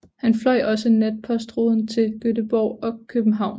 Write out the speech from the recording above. Han fløj også natpostruden til Göteborg og København